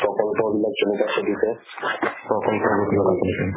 সকলো ধৰণৰ চলিছে